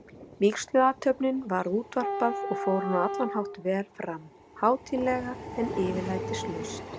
Vígsluathöfninni var útvarpað, og fór hún á allan hátt vel fram, hátíðlega, en yfirlætislaust.